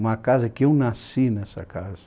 Uma casa que eu nasci nessa casa.